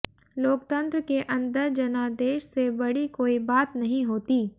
लोकतंत्र के अंदर जनादेश से बड़ी कोई बात नहीं होती